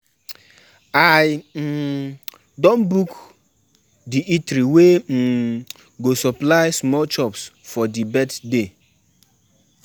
My mama tell me say we go go um village for dis holiday um go help my um grandma farm